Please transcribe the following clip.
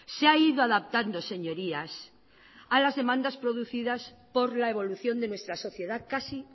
se ha ido adaptando señorías a las demandas producidas por la evolución de nuestra sociedad casi